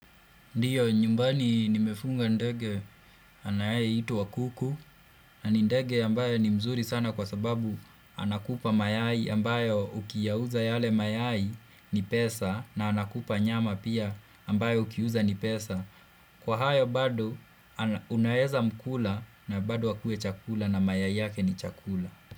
Ndio, nyumbani nimefuga ndege anayeitwa kuku na nini ndege ambayo ni mzuri sana kwa sababu anakupa mayai ambayo ukiyauza yale mayai ni pesa na anakupa nyama pia ambayo ukiuza ni pesa. Kwa hayo bado, unaweza mkula na bado akue chakula na mayai yake ni chakula.